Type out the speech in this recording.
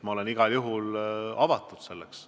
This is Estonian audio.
Ma olen igal juhul avatud koostööks.